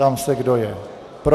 Ptám se, kdo je pro.